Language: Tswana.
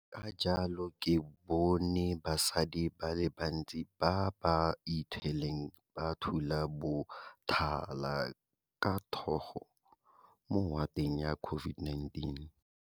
Ka jalo ke bone basadi ba le bantsi ba ba ithweleng ba thula botala ka thogo mo wateng ya COVID19.